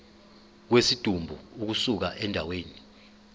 kwesidumbu ukusuka endaweni